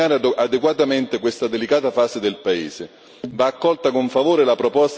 È necessario che l'Europa sappia accompagnare adeguatamente questa delicata fase del paese.